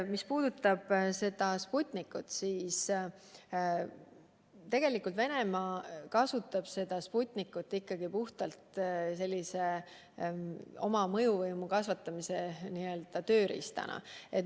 Mis puudutab Sputnikut, siis Venemaa kasutab seda ka oma mõjuvõimu kasvatamise tööriistana.